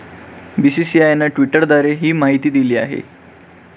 बीसीसीआयने ट्विटरद्वारे ही माहिती दिली आहे.